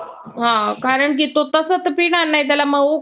अ कारण की तसं तर पिणार नाही त्याला मऊ